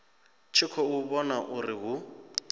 tshi khou vhona uri hu